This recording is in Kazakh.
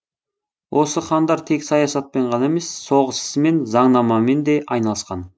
осы хандар тек саясатпен ғана емес соғыс ісімен заңнамамен де айналысқан